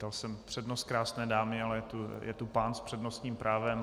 Dal jsem přednost krásné dámě, ale je tu pán s přednostním právem.